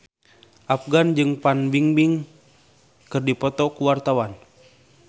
Afgan jeung Fan Bingbing keur dipoto ku wartawan